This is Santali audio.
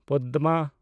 ᱯᱚᱫᱢᱟ